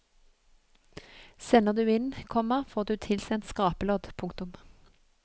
Sender du inn, komma får du tilsendt skrapelodd. punktum